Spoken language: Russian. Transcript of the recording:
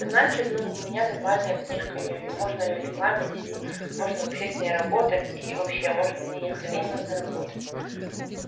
значит ну у меня нормальная книжка её можно её рекламировать можно вообще с ней работать и вообще можно ей охренено заработать